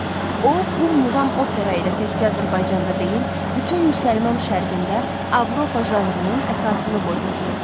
O, bu muğam opera ilə təkcə Azərbaycanda deyil, bütün müsəlman şərqində Avropa janrının əsasını qoymuşdu.